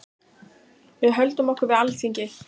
Við höldum okkur við Alþingi.